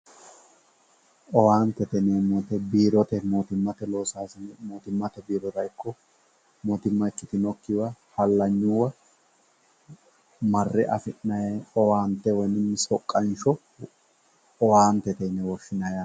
owaantete yineemmowoyiite biirote mootimmate loosaasine mootimmate biirora ikko mootimma ikkitinokkowa hallanyuyiiwa marre afi'nayii owaante woy soqqansho owaattete yine woshshinanni